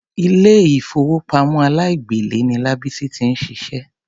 Ilé ìfowópamọ́ aláìgbèlé ni Lábísí ti ń ṣiṣẹ́.